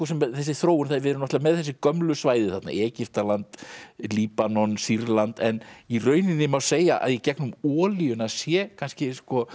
þessi þróun við erum með þessi gömlu svæði þarna Egyptaland Líbanon Sýrland en í rauninni má segja að í gegnum olíuna sé kannski